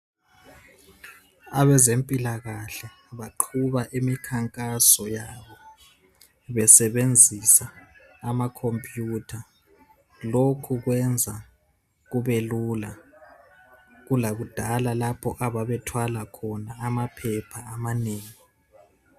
Abezempilakahle baqhuba imikhankaso yabo besebenzisa amakhompuyutha. Lokhu kwenza kubelula kulakudala lapho ababethwala khona amaphepha amanengi.